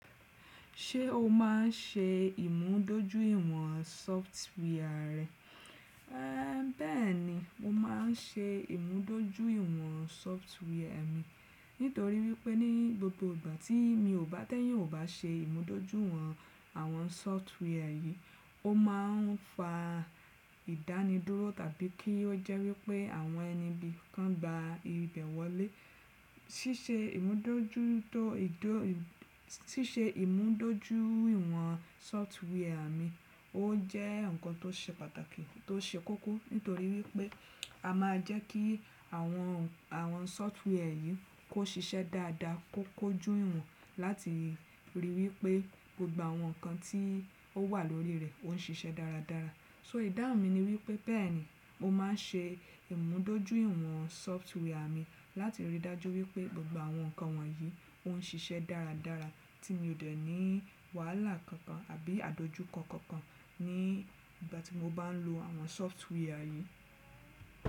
Ṣé o máa ń ṣe ìmúdójúìwọ̀n sọftware rẹ? Ẹ bẹ́ẹ̀ni, mo máa ń ṣe ìmúdójúìwọ̀n sọftwia mi. Nítorí wípé ní gbogbo ìgbà tí mi ò bá tẹ́yan ò bá ṣe ìmúdójúìwọ̀n àwọn sọftwia yìí, ó máa ń fa ìdánidúró tàbí kí ó jẹ́ wípé àwọn ẹni ibí kan gba ibẹ̀ wọlé. Síse ìmúdójúìwọ̀n sọftwia mi ó jẹ́ nǹkan tó ṣe pàtàkì tó ṣe kókó. Nítorí wípé a máa jẹ́ kí àwọn sọftwia yìí kó ṣiṣẹ́ dáadáa, kó kójú ìwọ̀n láti ríi wípé gbogbo àwọn ǹkan tí ó wà lórí rẹ̀ ó ń ṣiṣẹ́ dáradára. So ìdáhùn mi ni wípé bẹ́ẹ̀ni mo máa ń ṣe ìmúdójúìwọ̀n sọftwia mi láti rí dájú wípé gbogbo àwọn ǹkan wọ̀nyí ó ń ṣiṣẹ́ dáradára tí mi ò dẹ̀ ní wàhálà kankan àbí àdojúkọ kankan ní ìgbà tí mo bá ń lo àwọn sọftwia yìí.